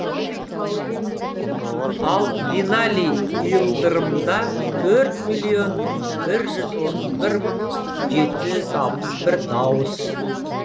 ал бинали и ылдырымда төрт миллион бір жүз отыз бір мың жеті жүз алпыс бір дауыс